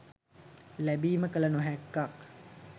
ලැබීම කල නොහැක්කක්